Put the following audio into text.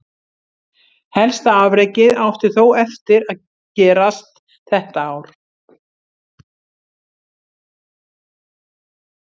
Helsta afrekið átti þó eftir gerast þetta ár.